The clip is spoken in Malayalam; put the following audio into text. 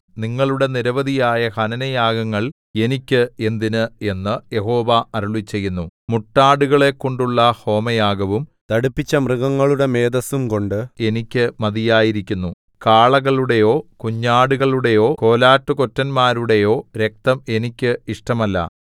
നിങ്ങളുടെ നിരവധിയായ ഹനനയാഗങ്ങൾ എനിക്ക് എന്തിന് എന്നു യഹോവ അരുളിച്ചെയ്യുന്നു മുട്ടാടുകളെക്കൊണ്ടുള്ള ഹോമയാഗവും തടിപ്പിച്ച മൃഗങ്ങളുടെ മേദസ്സുംകൊണ്ട് എനിക്ക് മതിയായിരിക്കുന്നു കാളകളുടെയോ കുഞ്ഞാടുകളുടെയോ കോലാട്ടുകൊറ്റന്മാരുടെയോ രക്തം എനിക്ക് ഇഷ്ടമല്ല